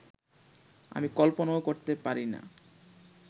আমি কল্পনাও করতে পারি না